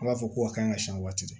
An b'a fɔ ko a kan ka siɲɛ waati